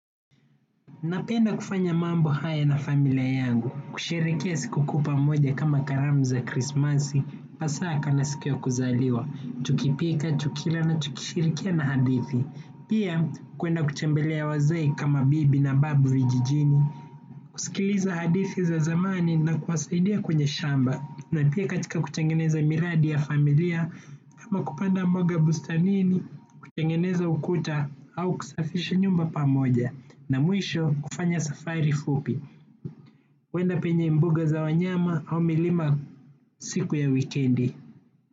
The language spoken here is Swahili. Napenda kufanya mambo haya na familia yangu, kusherehekea siku kuu pamoja kama karamu za Krismasi, Pasaka na siku ya kuzaliwa, tukipika, tukila na tukishirikia na hadithi, pia kwenda kutembelea wazee kama bibi na babu vijijini, kusikiliza hadithi za zamani na kuwasaidia kwenye shamba, na pia katika kutengeneza miradi ya familia, kama kupanda mboga bustanini, kutengeneza ukuta au kusafisha nyumba pamoja na mwisho kufanya safari fupi kwenda penye mbuga za wanyama au milima siku ya wikendi.